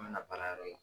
An bɛna baara yɔrɔ la